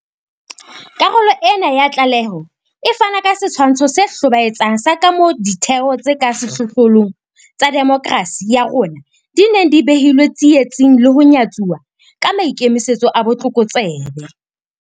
Karolo ena ya tlaleho e fana ka setshwantsho se hlobaetsang sa kamoo ditheo tse ka sehlohlolong tsa demokerasi ya rona di neng di behilwe tsietsing le ho nyatsuwa ka maikemisetso a botlokotsebe.